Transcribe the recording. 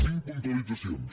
cinc puntualitzacions